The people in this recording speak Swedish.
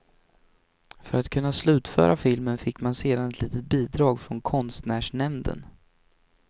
För att kunna slutföra filmen fick man sedan ett litet bidrag från konstnärsnämnden.